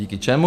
Díky čemu?